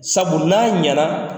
Sabu n'a ɲɛ na